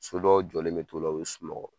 So dɔw jɔlen bɛ t'ola u bɛ sunɔgɔ.